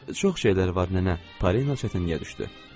Çox şeylər var, nənə, Panin özü də çətinə düşdü.